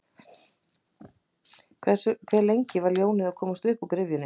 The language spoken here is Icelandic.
Hve lengi er ljónið að komast uppúr gryfjunni?